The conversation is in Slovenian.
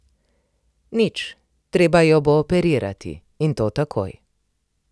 Nič, treba jo bo operirati, in to takoj.